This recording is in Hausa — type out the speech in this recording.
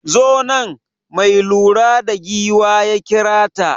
Zo nan, mai lura da giwa ya kira ta.